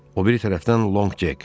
O biri tərəfdən Lonqcek.